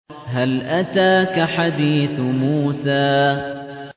هَلْ أَتَاكَ حَدِيثُ مُوسَىٰ